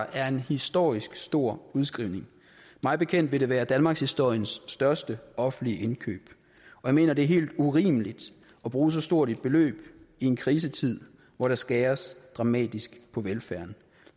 er en historisk stor udskrivning mig bekendt vil det være danmarkshistoriens største offentlige indkøb og jeg mener det er helt urimeligt at bruge så stort et beløb i en krisetid hvor der skæres dramatisk på velfærden